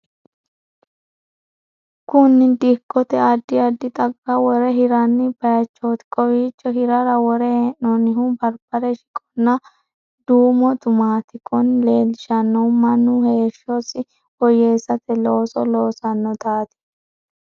Kunni dikkote addi addi xagga wore hiranni bayichoote. Kowiicho hirara wore hee'noonnihu barbare, shiqonna duumo tumaati. Kunni leelishanohu Manu heeshosi woyeesate looso loosanotaati.